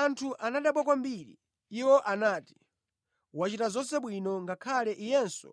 Anthu anadabwa kwambiri. Iwo anati, “Wachita zonse bwino, ngakhale Iyenso